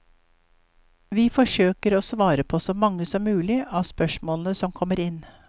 Vi forsøker å svare på så mange som mulig av spørsmålene som kommer inn.